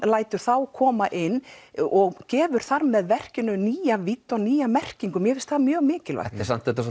lætur þá koma inn og gefur þar með verkinu nýja vídd og nýja merkingu mér finnst það mjög mikilvægt samt þetta